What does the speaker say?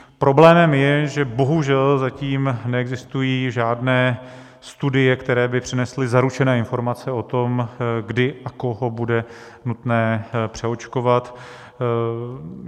Problémem je, že bohužel zatím neexistují žádné studie, které by přinesly zaručené informace o tom, kdy a koho bude nutné přeočkovat.